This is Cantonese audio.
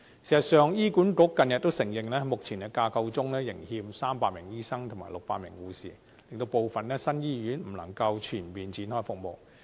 事實上，醫院管理局近日承認，目前架構中仍欠300名醫生及600名護士，令部分新醫院不能全面展開服務。